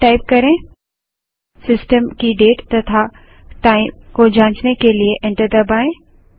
date type करें system की date तथा टाइम को जांचने के लिए एंटर दबायें